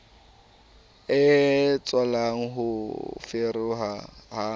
e tswalang ho foforeha ha